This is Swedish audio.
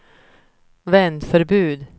vändförbud